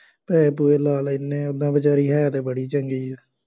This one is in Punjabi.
ਪੈਸੇ ਪੂਸੇ ਲਾ ਲੈਂਦੇ ਹਾਂ, ਉਦਾ ਵਿਚਾਰੀ ਹੈ ਤਾਂ ਬੜੀ ਚੰਗੀ ਆ,